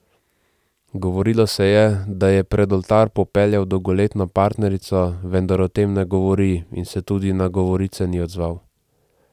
Govorilo se je, da je pred oltar popeljal dolgoletno partnerico, vendar o tem ne govori in se tudi na govorice ni odzval.